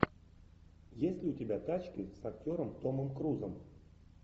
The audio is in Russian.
есть ли у тебя тачки с актером томом крузом